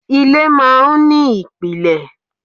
Ilé máa ń ní ìpìlẹ̀.